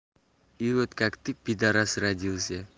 и вот как ты пидорас родился